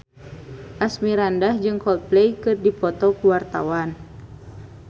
Asmirandah jeung Coldplay keur dipoto ku wartawan